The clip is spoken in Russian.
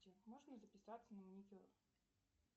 можно записаться на маникюр